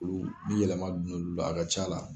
Olu ni yɛlɛma don n'olu la, a ka ca la